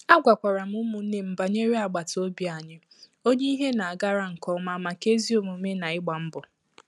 E gwakwara m ụmụnne m banyere agbata obi anyị onye ìhè na a gara nke oma maka ezi omume na igba mbọ